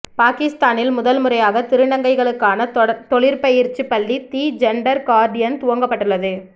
பாகிஸ்தானில் முதன்முறையாக திருநங்கைகளுக்கான தொழிற்பயிற்சிப் பள்ளி தி ஜெண்டர் கார்டியன் துவங்கப்பட்டுள்ளது